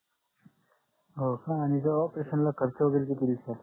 हो का आणि त्या operation ला खर्च वगैरे किती निघतो